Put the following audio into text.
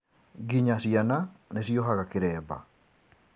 Nginya ciana nĩciohaga kĩremba